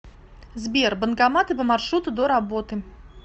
сбер банкоматы по маршруту до работы